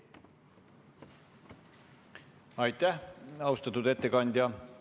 Aitäh, austatud ettekandja!